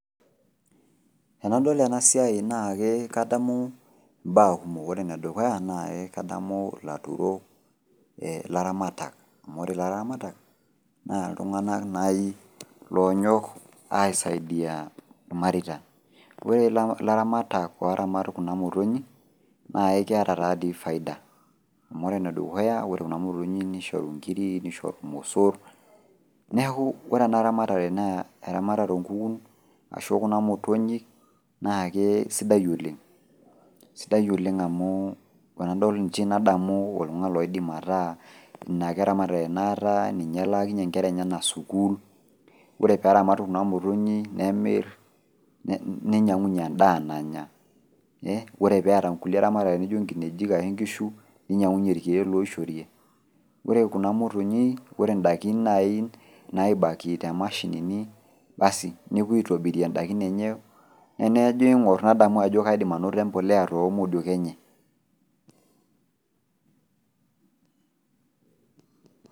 Enadol ena siai naake kadamu imbaa kumok, ore ene dukuya naake kadamu ilaturok, ee ilaramatak amu ore ilaramatak naa iltung'anak nai loonyok aisaidia irmareita. Ore ilaramatak ooramat kuna motonyik naake keeta taa dii faida, amu ore ene dukuya ore kuna motonyik nsihoru inkirik, nishoru irmosor. Neeku ore ena ramatare naa eramatare oo nkukun ashu e kuna motonyik naake sidai oleng', sidai oleng' amu enadol nchi nadamu oltung'ani loidim ataa ina ake eramatare naata, ninye elaakinye inkera enyenak sukuul. Ore peeramat kuna motonyik nemir ne ninyang'unye endaa nanya, ore peeta nkulie ramatare naijo inkinejik ashe nkishu ninyng'unye irkeek loishorie. Ore kuna motonyik ore ndaikin nai naibaki te mashinini basi nepui aitobirie ndaikin enye ene ajo aing'or nadamu ajo kaidim anoto embolea too modiok enye.